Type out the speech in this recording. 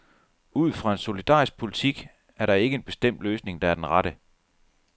Ud fra en solidarisk politik er der ikke en bestemt løsning, der er den rette.